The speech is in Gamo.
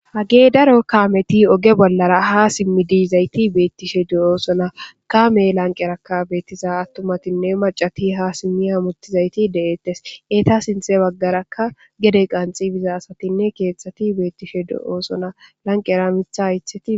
Hage daro kaameti oge boolara ha simmidi yizayti beetishe de'osona. Kaame lanqqeraka beetiza attumatinne maccati ha simmi hammutizayti de'etees. Eeta sinththe bagaraka gede qanxxi bida asatinne keethati beetishe de'osona. Lanqqera miththa haythati